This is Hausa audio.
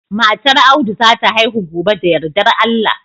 Matar Audu za ta haihu gobe da yardar Allah